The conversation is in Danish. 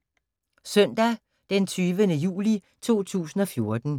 Søndag d. 20. juli 2014